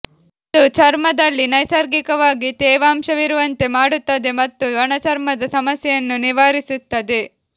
ಅದು ಚರ್ಮದಲ್ಲಿ ನೈಸರ್ಗಿಕವಾಗಿ ತೇವಾಂಶವಿರುವಂತೆ ಮಾಡುತ್ತದೆ ಮತ್ತು ಒಣಚರ್ಮದ ಸಮಸ್ಯೆಯನ್ನು ನಿವಾರಿಸುತ್ತದೆ